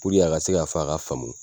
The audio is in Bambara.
Puruke a ka se ka fɔ a ka faamu